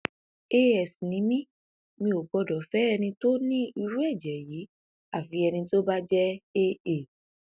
as ni mí mi ò gbọdọ fẹ ẹni tó ní irú ẹjẹ yìí àfi ẹni tó bá jẹ aa